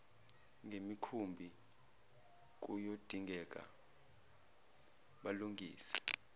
ngemikhumbi kuyodingeka balungise